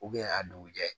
a dugujɛ